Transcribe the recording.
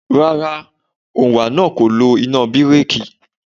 Rárá, òǹwà náà kò lo iná bíréèkì.